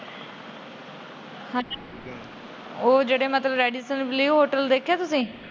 ਉਹ ਜਿਹੜਾ ਮਤਲਬ ਰੇਡੀਸਨ ਬਲੂ ਹੋਟਲ ਵੇਖਿਆ ਤੁਸੀਂ।